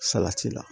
Salati la